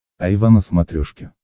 айва на смотрешке